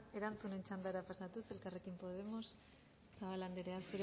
erantzunen txandara pasatuz elkarrekin podemos zabala andrea